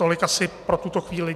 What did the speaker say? Tolik asi pro tuto chvíli.